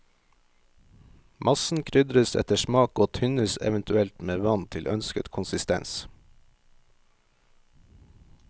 Massen krydres etter smak og tynnes eventuelt med vann til ønsket konsistens.